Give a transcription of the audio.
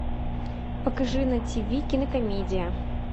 покажи на ти ви кинокомедия